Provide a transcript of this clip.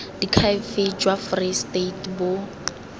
diakhaefe jwa free state bo